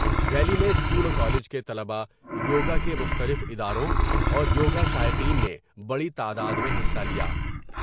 Rally میں school و college کے طلباء ، یوگا کے مختلف اداروں ، اور یوگا شائقین نے بڑی تعداد میں حصہ لیا ۔